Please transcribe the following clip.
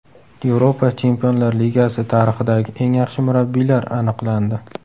Yevropa Chempionlar Ligasi tarixidagi eng yaxshi murabbiylar aniqlandi.